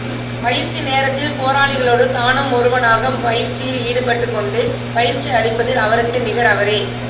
பயிற்சி நேரத்தில் போராளிகளோடு தானும் ஒருவனாக பயிற்சியில் ஈடுபட்டுக் கொண்டு பயிற்சி அளிப்பதில் அவருக்கு நிகர் அவரே